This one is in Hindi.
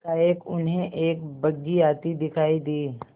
एकाएक उन्हें एक बग्घी आती दिखायी दी